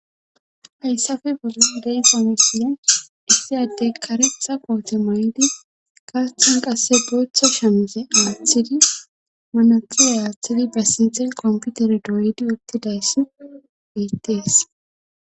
hayssape bolan de7iza misilen issi addey karetha koote may7di gaathan qasse booththa shamize aathidi manatsira aaththidi ba sinthen computer e dooydi uttidayssi bettees